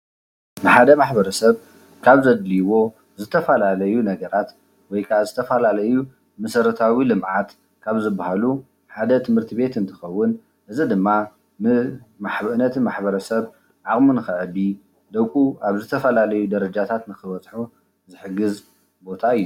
ሓደ ማሕበረሰብ ካብ ዘድልይዎ ዝተፈላለዩ ነገራት ወይ ከዓ ዝተፈላለዩ መሰረታዊ ልምዓት ካብ ዝባሃሉ ሓደ ትምህርቲ ቤት እንትከውን እዚ ድማ ን ነቲ ማሕበረሰብ ዓቅሚ ንከዕቢ ደቁ ዝተፋላለዩ ደረጃታት ንኽበፅሑ ዝሕግዝ ቦታ እዩ፡፡